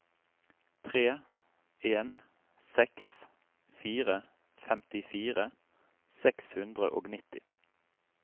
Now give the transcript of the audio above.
tre en seks fire femtifire seks hundre og nitti